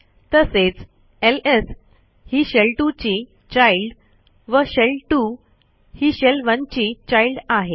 तसेच lsही शेल2 ची चाइल्ड व शेल2 ही शेल1 ची childआहे